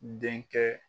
Denkɛ